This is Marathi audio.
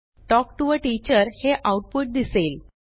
तल्क टीओ आ टीचर हे आऊटपुट दिसेल